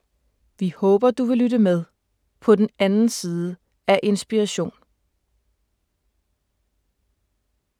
Vi håber, du vil lytte med - på den anden side af Inspiration.